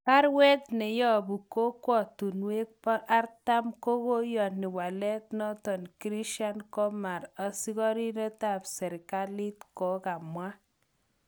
Barwet neyobu kokwotunwek 40 kokoyoni walet noton, Krishan Kumar, asikoridet ab serkalit kokamwa.